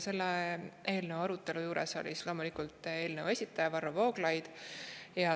Selle eelnõu arutelu juures oli loomulikult eelnõu esitaja Varro Vooglaid.